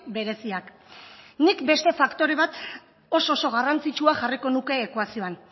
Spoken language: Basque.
bereziak nik beste faktore bat oso oso garrantzitsua jarriko nuke ekuazioan